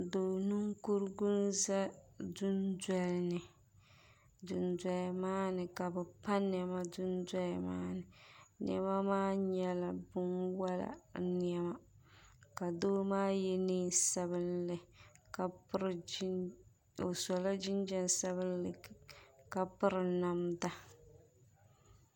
Do' ninkurigu n-za dunoli ni dunoli maa ni ka bɛ pa nɛma dunoli maa ni nɛma maa nyɛla binwala nɛma ka doo maa ye neen' sabinli o sola jinjam sabinli ka piri namda